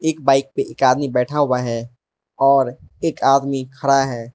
एक बाइक पे एक आदमी बैठा हुआ है और एक आदमी खड़ा है।